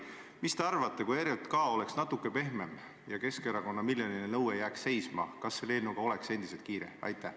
Mis te arvate, kui ERJK oleks natuke pehmem ja Keskerakonna esitatud miljoninõue jääks seisma, kas selle eelnõuga oleks endiselt kiire?